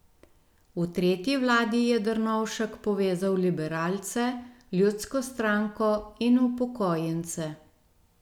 V tretji vladi je Drnovšek povezal liberalce, ljudsko stranko in upokojence.